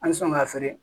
An bɛ sɔn ka feere